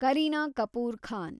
Kareena Kapoor Khan